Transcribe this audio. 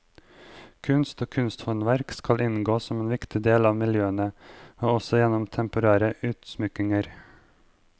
Kunst og kunsthåndverk skal inngå som en viktig del av miljøene, også gjennom temporære utsmykninger.